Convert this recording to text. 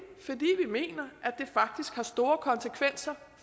mener at det faktisk har store konsekvenser